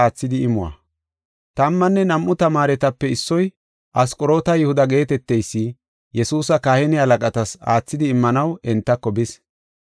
Tammanne nam7u tamaaretape issoy Asqoroota Yihuda geeteteysi Yesuusa kahine halaqatas aathidi immanaw entako bis.